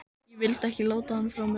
Ég vildi ekki láta hann frá mér.